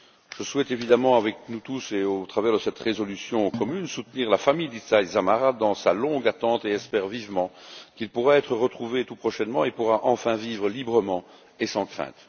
Je souhaite évidemment, avec nous tous et par cette résolution commune, soutenir la famille d'Itai Dzamara dans sa longue attente, et espère vivement qu'il pourra être retrouvé tout prochainement et qu'il pourra enfin vivre librement et sans crainte.